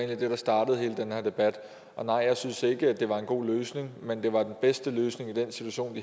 det der startede hele den her debat nej jeg synes ikke det var en god løsning men det var den bedste løsning i den situation